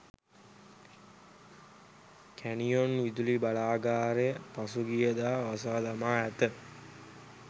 canyon විදුලි බලාගාරය පසුගිය දා වසා දමා ඇත